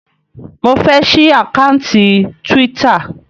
Mo fẹ́ ṣí àkáùntì Twitter.